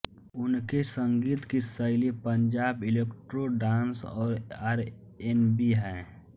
उनके संगीत की शैली पंजाबी इलेक्ट्रो डांस और आरएनबी है